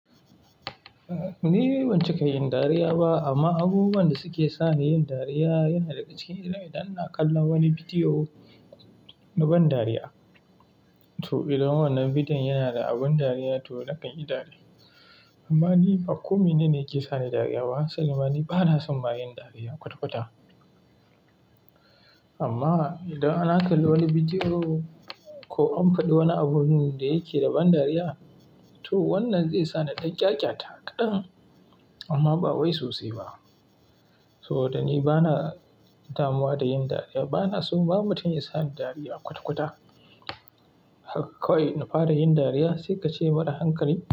Ni ban ci kai yin dariya ba amma abubuwan da suke sa ni yin dariya yana daga cikin idan ina kallon wani bidiyo na ban dariya. To idan wannan bidiyon yana da abin dariya to nakan yi dariya. Amma ni ba kome ne ne yake sa ni dariya ba. Sabidama ni bana son ba yin dariya kwata-kwata. Amma idan ana kalli wani bidiyo ko an faɗi wani abun da yake da ban dariya, to wannan zai sa ni ɗan ƙyaƙyata kaɗan amma ba wai sosai ba. Saboda ni bana damuwa da yin dariya, bana so babu mutum ya sa ni dariya kwata-kwata. Haka kawai ina fara yin dariya sai ka ce mara hankali.